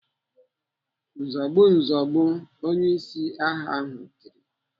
"Nzogbu! Nzogbu!!" Onyeisi agha ahụ tiri.